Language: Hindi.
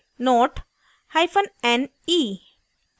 note hyphen ne